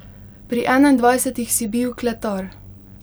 Pri enaindvajsetih si bil kletar.